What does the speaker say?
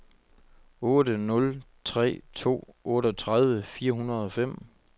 otte nul tre to otteogtredive fire hundrede og fem